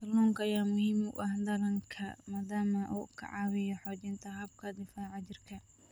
Kalluunka ayaa muhiim u ah dhallaanka maadaama uu ka caawiyo xoojinta habka difaaca jirka.